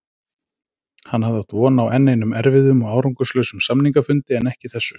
Hann hafði átt von á enn einum erfiðum og árangurslausum samningafundi en ekki þessu.